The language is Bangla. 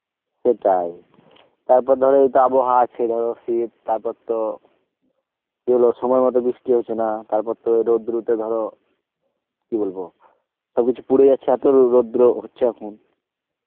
সেটাই তারপর ধর এই আবহাওয়া আছে ধর শীত তারপরতো সময় মত বৃষ্টি আসে না তারপর তো রোদ্দুর এ তে ধর, কি বলবো সব কিছু পুরে যাচ্ছে এত রোদ্দুর ও হচ্ছে এখন